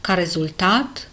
ca rezultat